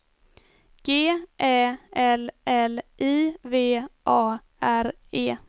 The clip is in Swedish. G Ä L L I V A R E